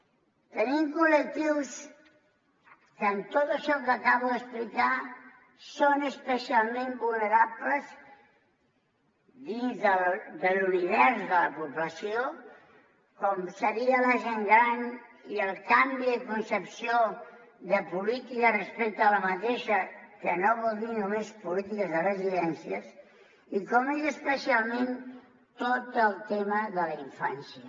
tenim col·lectius que amb tot això que acabo d’explicar són especialment vulnerables dins de l’univers de la població com seria la gent gran i el canvi de concepció de política respecte a d’aquesta que no vol dir només polítiques de residències i com és especialment tot el tema de la infància